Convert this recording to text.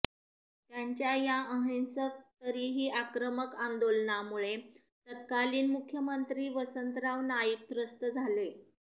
त्यांच्या या अहिंसक तरीही आक्रमक आंदोलनामुळे तत्कालीन मुख्यमंत्री वसंतराव नाईक त्रस्त झाले